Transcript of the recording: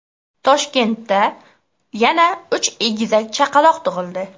Toshkentda yana uch egizak chaqaloq tug‘ildi.